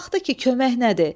Baxdı ki, kömək nədir?